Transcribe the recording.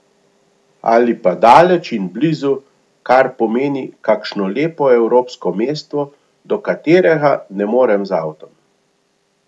Ali pa daleč in blizu, kar pomeni kakšno lepo evropsko mesto, do katerega ne morem z avtom.